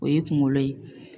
O ye kungolo ye